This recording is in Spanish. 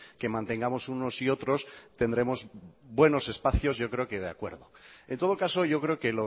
que mantengamos unos y otros tendremos buenos espacios yo creo que de acuerdo en todo caso yo creo que